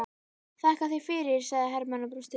Þakka þér fyrir, sagði Hermann og brosti.